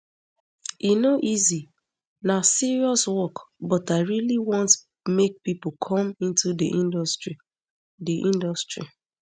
e no easy na serious work but i really want make pipo come into di industry di industry